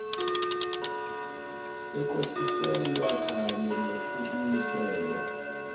sekwehliselwa kanye nekubuyiselwa